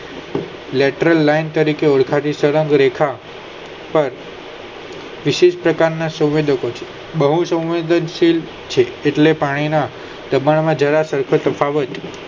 metro line તરીકે ઓળખાતી સળગ રેખા પર કૃષિ પ્રકારના સવદતો છે બહુ સંદિત છે એટલે કે ના દબાણ માં જવા પતાવે